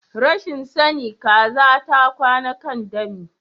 Rashin sani Kaza ta kwana kan dami.